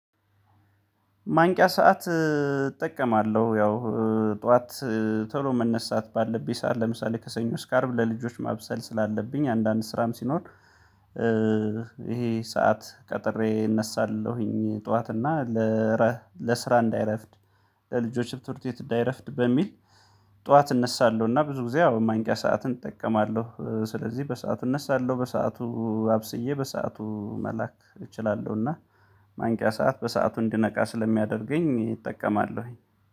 ማንቂያ ሰዓት እጠቀማለሁ። ያው ጠዋት ቶሎ መነሳት ባለብኝ ሰዓት ለምሳሌ ከሰኞ እስከ አርብ ለልጆች ማብሰል ስላለብኝ አንዳንድ ስራም ሲኖር። ይሄ ሰዓት ቀጥሬ እነሳለሁኝ ጠዋት እና ለረ ለስራ እንዳይረፍድ ለልጆች ትምህርት ቤት እንዳይረፍድ በሚል ጠዋት እነሳለሁ። እና ብዙ ጊዜ አዎ ማንቂያ ሰዓትን እጠቀማለሁ ስለዚህ በሰአቱ እነሳለሁ በሰአቱ አብስዬ በሰአቱ መላክ እችላለሁና። ማንቂያ ሰዓት በሰአቱ እንድነቃ ስለሚያደርገኝ እጠቀማለሁኝ